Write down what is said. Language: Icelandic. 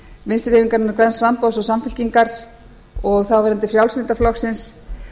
vinstri hreyfingarinnar græns framboðs og samfylkingar og þáverandi frjálslynda flokksins